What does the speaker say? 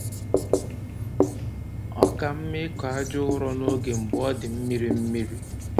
Ọ ka mma ịkọ aja ụrọ n'oge mgbe ọ dị mmiri mmiri